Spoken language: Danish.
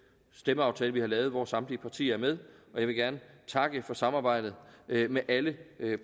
stemmeaftale vi har lavet hvor samtlige partier er med og jeg vil gerne takke for samarbejdet med alle